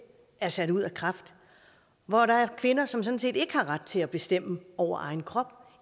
er sat ud af kraft hvor der er kvinder som sådan set ikke har ret til at bestemme over egen krop og